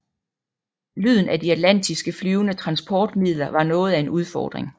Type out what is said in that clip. Lyden af de atlantiske flyvende transportmidler var noget af en udfordring